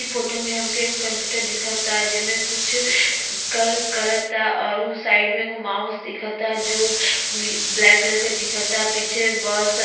इ फोटो में हमके एगो कंप्यूटर दिखता जेमे कुछ कर करता औरु साइड में एगो माउस दिखता जो बी ब्लैक कलर के दिखता। पीछे बस --